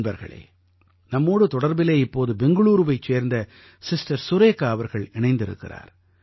நண்பர்களே நம்மோடு தொடர்பிலே இப்போது பெங்களூரூவைச் சேர்ந்த சிஸ்டர் சுரேகா அவர்கள் இணைந்திருக்கிறார்